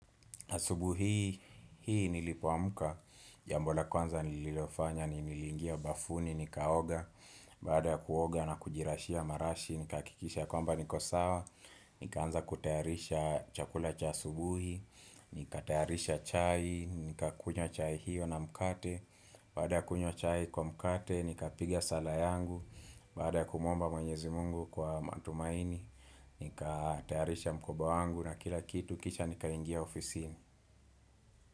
Asubuhi hii nilipoamka, jambo la kwanza nililofanya, nilingia bafuni, nikaoga, baadab ya kuoga na kujirashia marashi, nikahakikisha kwamba niko sawa, nikaanza kutayarisha chakula cha asubuhi nika tayarisha chai, nika kunywa chai hiyo na mkate, baada kunywa chai kwa mkate, nika pigia sala yangu, baada kumwomba mwenyezi mungu kwa matumaini, nika tayarisha mkoba wangu na kila kitu kisha nika ingia ofisi.